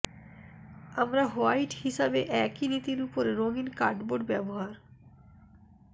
আমরা হোয়াইট হিসাবে একই নীতির উপর রঙিন কার্ডবোর্ড ব্যবহার